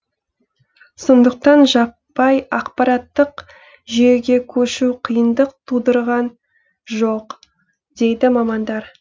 сондықтан жаппай ақпараттық жүйеге көшу қиындық тудырған жоқ дейді мамандар